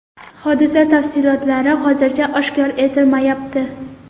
Hodisa tafsilotlari hozircha oshkor etilmayapti.